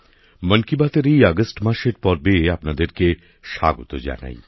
মন কি বাতএর এই আগস্ট মাসের পর্বে আপনাদেরকে স্বাগত জানাই